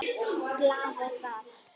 Glaða líka.